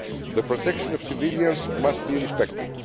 The protection of civilians must be respected.